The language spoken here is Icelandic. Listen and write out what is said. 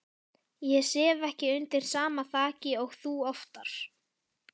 Ég sef ekki undir sama þaki og þú oftar.